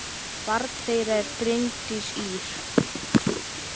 Barn þeirra er Bryndís Ýr.